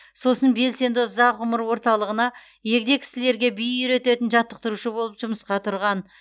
сосын белсенді ұзақ ғұмыр орталығына егде кісілерге би үйрететін жаттықтырушы болып жұмысқа тұрған